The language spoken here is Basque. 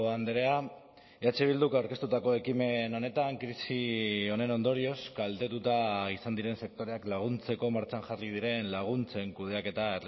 andrea eh bilduk aurkeztutako ekimen honetan krisi honen ondorioz kaltetuta izan diren sektoreak laguntzeko martxan jarri diren laguntzen kudeaketa